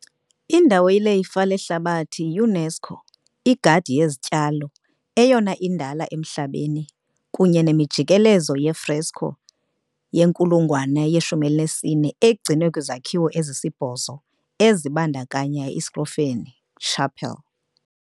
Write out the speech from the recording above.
indawo yelifa lehlabathi yi- UNESCO - igadi yezityalo, eyona indala emhlabeni, kunye nemijikelezo ye-fresco yenkulungwane ye-14, egcinwe kwizakhiwo ezisibhozo ezibandakanya iScrovegni chapel .